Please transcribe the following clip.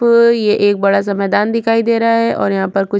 फ ये एक बड़ा -सा मैदान दिखाई दे रहा है ओर यहाँ पर कुछ--